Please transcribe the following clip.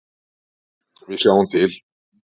Við sjáum til.